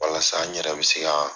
Walasa n yɛrɛ bɛ se ka